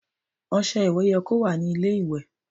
Ọṣẹ ìwẹ̀ yẹ kó wà ní ilé ìwẹ̀.